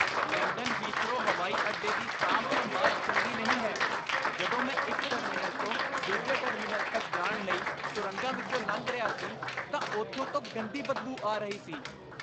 London Heathrow ਹਵਾਈ ਅੱਡੇ ਦੀ ਸਾਂਭ ਸੰਭਾਲ ਚੰਗੀ ਨਹੀਂ ਹੈ ਜਦੋਂ ਮੈਂ ਇੱਕ ਟਰਮੀਨਲ ਤੋਂ ਦੂਜੇ ਟਰਮੀਨਲ ਤੱਕ ਜਾਣ ਲਈ ਸੁਰੰਗਾਂ ਵਿੱਚੋਂ ਲੰਘ ਰਿਹਾ ਸੀ, ਤਾਂ ਉੱਥੋਂ ਤੋਂ ਗੰਦੀ ਬਦਬੂ ਆ ਰਹੀ ਸੀ